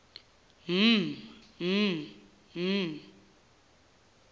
mh mh mh